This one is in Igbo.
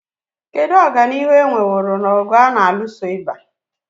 Kedu ọganihu e nweworo n'ọgụ a na-alụso ịba?